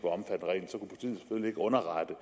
underrette